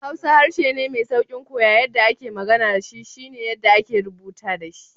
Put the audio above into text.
Hausa harshe ne mai sauƙin koya, yadda ake magana da shi shi ne yadda ake rubuta shi.